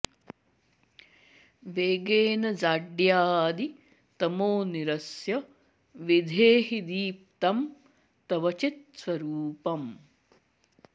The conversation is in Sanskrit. वेगेन जाड्यादि तमो निरस्य विधेहि दीप्तं तव चित्स्वरूपम्